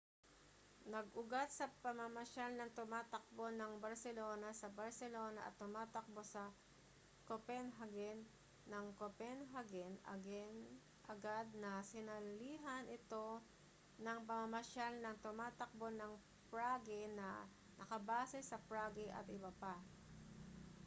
nag-ugat sa pamamasyal nang tumatakbo ng barcelona sa barcelona at tumatakbo sa copenhagen ng copenhagen agad na sinalihan ito ng pamamasyal nang tumatakbo ng prague na nakabase sa prague at iba pa